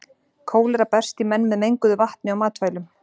Kólera berst í menn með menguðu vatni og matvælum.